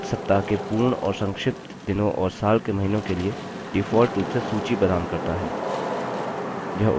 calc सप्ताह के पूर्ण और संक्षिप्त दिनों और साल के महीनों के लिए default रूप से सूची प्रदान करता है